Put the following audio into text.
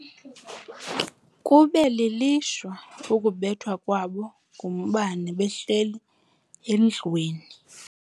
Kube lilishwa ukubethwa kwabo ngumbane behleli endlwini.